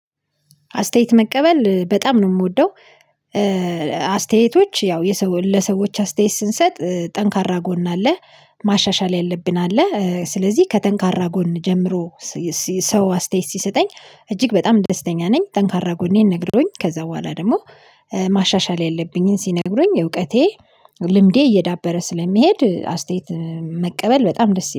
አስተያየት መቀበል በጣም ነው ምወደው። አስተያየቶች ያው የሰዎ ለሰዎች አስተያየት ስንሰጥ ጠንካራ ጎን አለ ማሻሻል ያለብን አለ ስለዚህ ከጠንካራ ጎን ጀምሮ ሲ ሲስ ሰው አስተያየት ሲሰጠኝ እጅግ በጣም ደስተኛ ነኝ። ጠንካራ ጎኔን ነግሮኝ ከዛ በኋላ ደግሞ ማሻሻል ያለብኝን ሲነግሩኝ እውቀቴ ልምዴ እየዳበረ ስለሚሄድ አስተያየት መቀበል በጣም ደስ